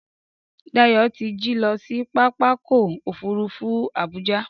Dayọ̀ ti jí lọ sí pápákọ̀ òfurufú Abuja